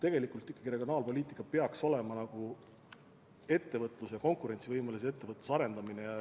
Tegelikult peaks regionaalpoliitika olema eelkõige konkurentsivõimelise ettevõtluse arendamine.